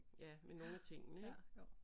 Ja med nogle af tingene ik